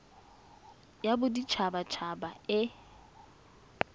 ya bodit habat haba e